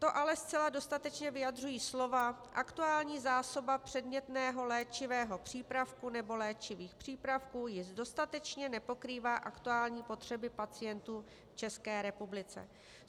To ale zcela dostatečně vyjadřují slovy "aktuální zásoba předmětného léčivého přípravku nebo léčivých přípravků již dostatečně nepokrývá aktuální potřeby pacientů v České republice".